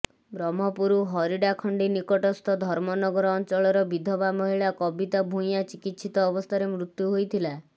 ବ୍ରହ୍ମପୁର ହରିଡାଖଣ୍ଡୀ ନିକଟସ୍ଥ ଧର୍ମନଗର ଅଞ୍ଚଳର ବିଧବା ମହିଳା କବିତା ଭୂୟାଁ ଚିକିତ୍ସିତ ଅବସ୍ଥାରେ ମୃତ୍ୟୁ ହୋଇଥିଲା